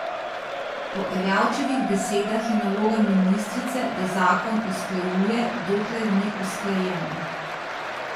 Po Erjavčevih besedah je naloga ministrice, da zakon usklajuje, dokler ni usklajen.